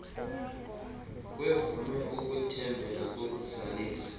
kwevume ukuthembela kokuzalisa